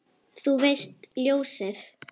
Þú veist, ljósið